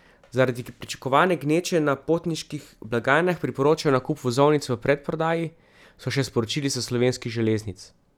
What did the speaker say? Zaradi pričakovane gneče na potniških blagajnah priporočajo nakup vozovnic v predprodaji, so še sporočili s Slovenskih železnic.